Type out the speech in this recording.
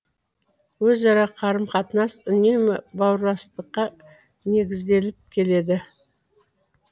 өзара қарым қатынас үнемі бауырластыққа негізделіп келеді